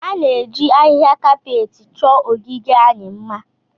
A na-eji ahịhịa kapetị chọọ ogige anyị mma